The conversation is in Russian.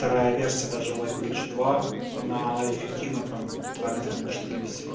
вторая версия даже лэйбридж два она эффективна там километра на четыре всего